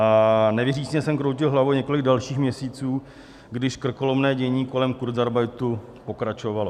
A nevěřícně jsem kroutil hlavou několik dalších měsíců, když krkolomné dění kolem kurzarbeitu pokračovalo.